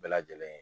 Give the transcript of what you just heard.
Bɛɛ lajɛlen